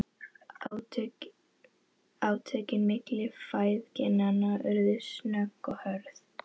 Átökin milli feðginanna urðu snögg og hörð.